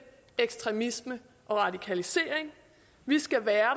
ekstremisme og radikalisering vi skal være